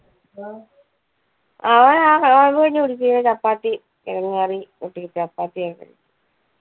അവൻ ആ അഹ് ചപ്പാത്തി കിഴങ്ങു കറി കുട്ടി ചപ്പാത്തി ഒക്കെ.